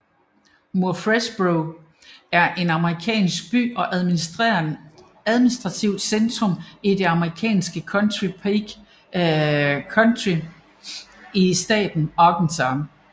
Murfreesboro er en amerikansk by og administrativt centrum i det amerikanske county Pike County i staten Arkansas